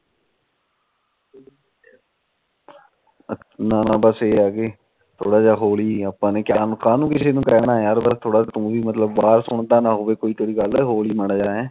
ਨਾ ਨਾ ਬਸ ਇਹ ਆ ਕਿ ਥੋੜਾ ਜਾ ਹੋਲੀ ਆਪਾ ਨੇ ਕਾਨੂੰ ਕਿਸੇ ਨੂੰ ਕਹਿਣਾ ਬਾਹਰ ਸੁਣਦਾ ਨਾ ਹੋਵੇ ਤੇਰੀ ਗੱਲ ਹੋਲੀ ਮਾੜਾ ਜਾ ਹੈ